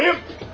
Bayım!